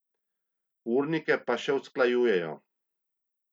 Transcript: Urnike pa še usklajujejo.